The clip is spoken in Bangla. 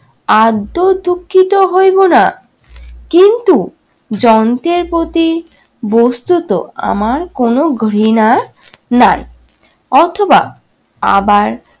আদ্যও দুঃখিত হইব না। কিন্তু যন্ত্রের প্রতি বস্তুত আমার কোন ঘৃণা নাই। অথবা আবার